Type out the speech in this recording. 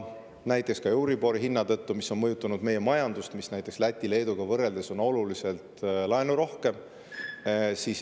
Ja ka euribor on mõjutanud meie majandust, näiteks Läti ja Leeduga võrreldes on oluliselt rohkem laene.